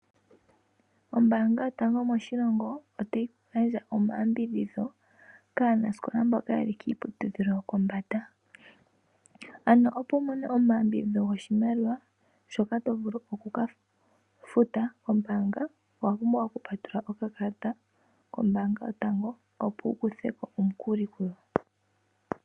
Ombaanga yotango moshilongo otayi gandja omayambidhidho kaanasikola mboka ye li kiiputudhilo yopombanda. Ano opo wu mone omayambidhidho goshimaliwa shoka to vulu oku ka futa kombaanga owa pumbwa owa pumbwa oku patulula okakalata kombaanga yotango opo wu kuthe omukuli ngu.